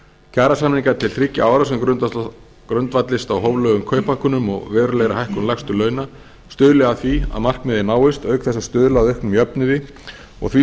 kjarasamningar til þriggja ára sem grundvallist á hóflegum kauphækkunum og verulegri hækkun lægstu launa stuðli að því að það markmið náist auk þess að stuðla að auknum jöfnuði og því